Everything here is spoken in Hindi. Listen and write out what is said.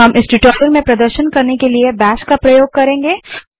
हम इस ट्यूटोरियल में प्रदर्शन के लिए बैश का प्रयोग करेंगे